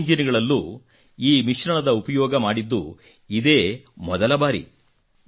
ಎರಡೂ ಇಂಜಿನ್ ಗಳಲ್ಲೂ ಈ ಮಿಶ್ರಣದ ಉಪಯೋಗ ಮಾಡಿದ್ದು ಇದೇ ಮೊದಲ ಬಾರಿ